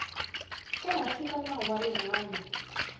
ehansi ka nawu wa rihanyu